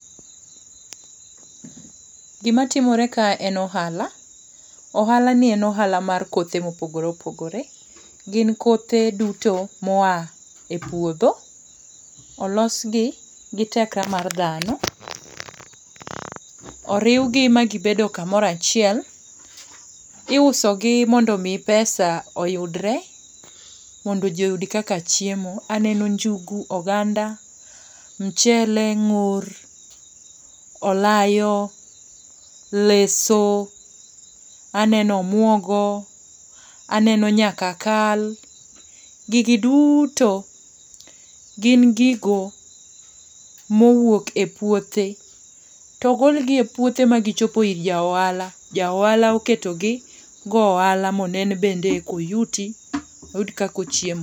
Gima timore kaeni en ohala. Ohalani en ohala mar kothe ma opogore opogore, gin kothe duto ma oa e puodgo. Olosgi giteke mar dhano oriwgi ma gibedo kamoro achiel. Iusogi mondo mi pesa oyudre mondo ji oyud kaka chiemo aneno njugu, oganda , michele, ng'or, olayo, leso, aneno omuogo aneno nyaka kal, gigi duto gin gigo mowuok e puothe to ogolgi e puothe magichopo ir ja ohala, ja ohala oketogi ogo ohala mondo oyud kaka ochiemo.